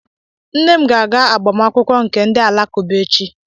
Nne m ga-aga agbamakwụkwọ nke ndị Alakụba echi.